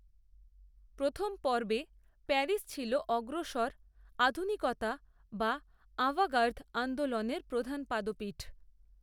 প্রথম পর্বে প্যারিস ছিল অগ্রসর, আধুনিকতা বা আভাঁগার্দ, আন্দোলনের প্রধান পাদপীঠ